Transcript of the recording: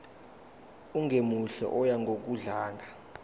ongemuhle oya ngokudlanga